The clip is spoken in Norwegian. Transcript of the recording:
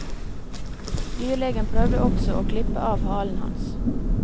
Dyrlegen prøvde også å klippe av halen hans.